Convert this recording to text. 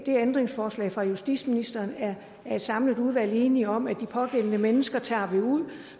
ændringsforslaget fra justitsministeren er et samlet udvalg enige om at de pågældende mennesker tager vi ud